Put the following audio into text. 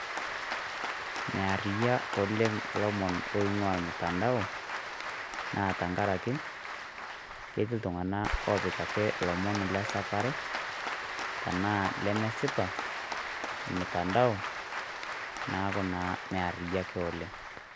Mearriyia oleng' lomon loing'ua mtandao ,na tankaraki, ketiii iltung'anak opik ake ilomon lesapare, enaa lemesipa omtandao, neeku naa mearriyiak oleng'.